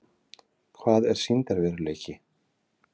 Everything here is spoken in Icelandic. Hvað er sýndarveruleiki?